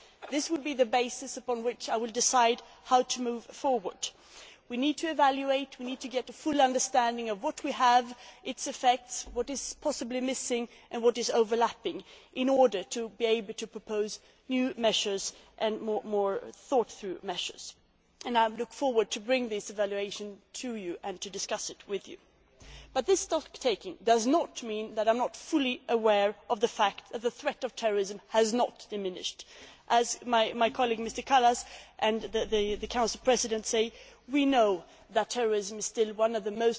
This will be the basis upon which I will decide how to move forward. We need to evaluate and to get a full understanding of what we have, its effects, what is possibly missing and what is overlapping in order to be able to propose new measures and more thought through measures. I look forward to bringing this evaluation to you and to discussing it with you. But this stocktaking does not mean that I am not fully aware of the fact that the threat of terrorism has not diminished. As my colleague, Mr Kallas, and the Council Presidency have said, we know that terrorism is still one